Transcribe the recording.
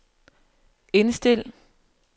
indstil